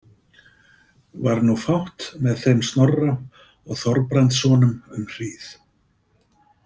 Var nú fátt með þeim Snorra og Þorbrandssonum um hríð.